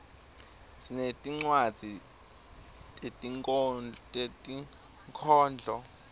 sinetincwadzi tetinkhondlo